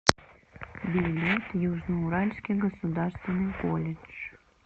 билет южно уральский государственный колледж